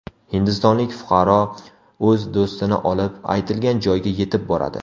Hindistonlik fuqaro o‘z do‘stini olib, aytilgan joyga yetib boradi.